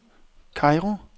Kairo